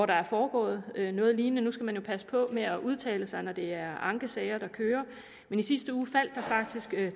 der er foregået noget lignende nu skal man jo passe på med at udtale sig når det er ankesager der kører men i sidste uge faldt der faktisk